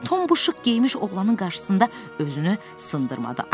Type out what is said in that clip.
Tom bu şıq geyinmiş oğlanın qarşısında özünü sındırmadı.